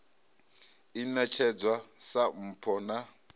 i ṋetshedzwaho sa mpho na